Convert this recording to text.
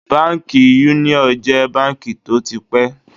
Báńkì Yúníọ̀ jẹ́ báńkì tó ti pẹ́.